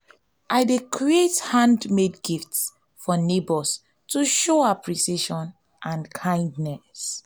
i dey create handmade gifts for neighbors to show appreciation and kindness.